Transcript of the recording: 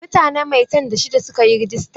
Mutane maitan da shida suka yi rajista.